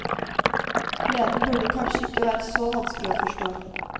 Gleden burde kanskje ikke være så vanskelig å forstå.